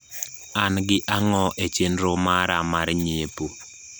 an gi ang`o e chenro mara mar nyiepo